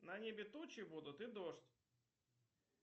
на небе тучи будут и дождь